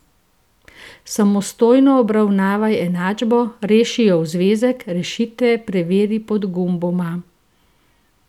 Samostojno obravnavaj enačbo, reši jo v zvezek, rešitve preveri pod gumboma.